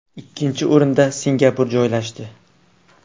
Ikkinchi o‘rinda Singapur joylashdi.